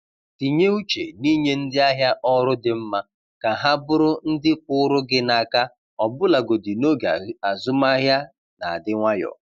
Tinye uche n’inye ndị ahịa ọrụ dị mma ka ha bụrụ ndị kwụụrụ gị n’aka ọbụlagodi n’oge azụmahịa na-adị nwayọ.